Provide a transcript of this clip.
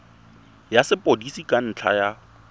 ya sepodisi ka ntlha ya